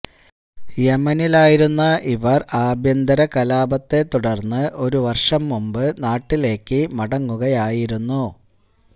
യെമനിലായിരുന്ന ഇവർ ആഭ്യന്തര കലാപത്തെ തുടർന്ന് ഒരു വർഷം മുമ്പ് നാട്ടിലേക്ക് മടങ്ങുകയായിരുന്നു